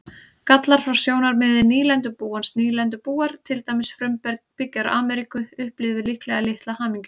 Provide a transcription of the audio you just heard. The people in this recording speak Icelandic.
Gallar frá sjónarmiði nýlendubúans Nýlendubúar, til dæmis frumbyggjar Ameríku, upplifðu líklega litla hamingju.